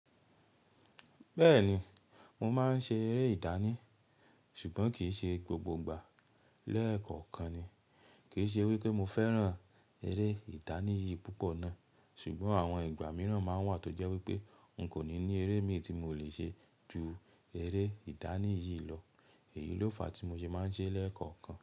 Bẹ́ẹ̀ni, mo máa ń ṣe eré ìdání ṣùgbọ́n kì í ṣe gbogbo ìgbà lẹ́ẹ̀kọ̀kan ni. Kì í ṣe wí pé mo fẹ́ràn eré ìdání yìí púpọ̀ náà, ṣùgbọ́n àwọn ìgbà mìíràn máa ń wà tó jẹ́ wí pé n kò ní ní eré míì tí mo lè ṣe ju eré ìdání yìí lọ. Èyí ló fà á tí mo ṣe máa ń ṣe é lẹ́ẹ̀kọ̀kan.